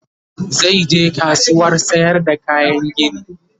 zai je kasuwar sayar da kayan gini